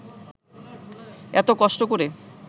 এত কষ্ট করে